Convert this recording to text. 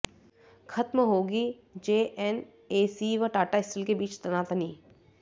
खत्म होगी जेएनएसी व टाटा स्टील के बीच तनातनी